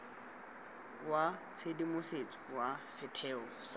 wa tshedimosetso wa setheo sa